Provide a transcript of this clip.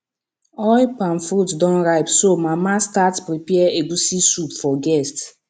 oil palm fruit don ripe so mama start prepare egusi soup for guest